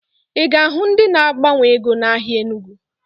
Ị ga-ahụ ndị na-agbanwe ego n'ahịa Enugu